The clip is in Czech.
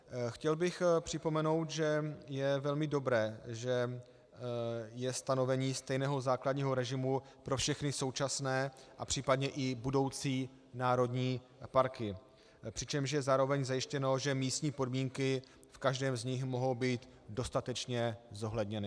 Chtěl bych připomenout, že je velmi dobré, že je stanovení stejného základního režimu pro všechny současné a případně i budoucí národní parky, přičemž je zároveň zajištěno, že místní podmínky v každém z nich mohou být dostatečně zohledněny.